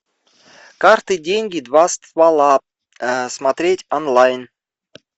карты деньги два ствола смотреть онлайн